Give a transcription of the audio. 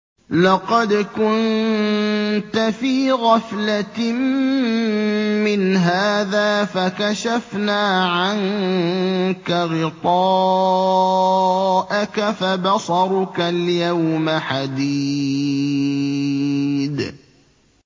لَّقَدْ كُنتَ فِي غَفْلَةٍ مِّنْ هَٰذَا فَكَشَفْنَا عَنكَ غِطَاءَكَ فَبَصَرُكَ الْيَوْمَ حَدِيدٌ